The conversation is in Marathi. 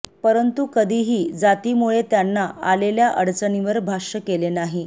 परंतु कधीही जातीमुळे त्यांना आलेल्या अडचणींवर भाष्य केले नाही